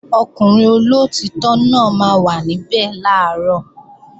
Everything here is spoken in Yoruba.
Ọkùnrin olóòtítọ́ náà máa wà níbẹ̀ làárọ̀